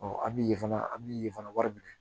an bi ye fana an mi ye fana wari minɛ